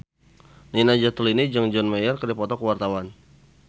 Nina Zatulini jeung John Mayer keur dipoto ku wartawan